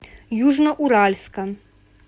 южноуральска